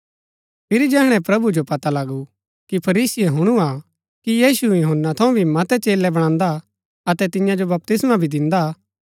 फिरी जैहणै प्रभु जो पता लगू कि फरीसीये हुणु हा कि यीशु यूहन्‍ना थऊँ भी मतै चेलै बणान्दा अतै तियां जो बपतिस्मा भी दिन्दा हा